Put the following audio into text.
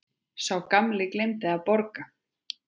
Sá gamli gleymdi að borga.